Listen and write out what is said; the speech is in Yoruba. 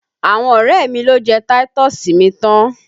Àwọn ọrẹ mi lo jẹ táítọ̀sì mi tán!